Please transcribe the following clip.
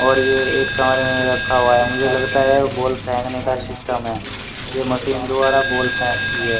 और यह एक कमरे में रखा हुआ है मुझे लगता है बॉल फेंकने का सिस्टम है यह मशीन द्वारा बॉल फेंकती है।